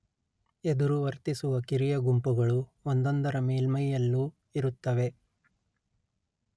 ಎದುರು ವರ್ತಿಸುವ ಕಿರಿಯ ಗುಂಪುಗಳು ಒಂದೊಂದರ ಮೇಲ್ಮೈಯಲ್ಲೂ ಇರುತ್ತವೆ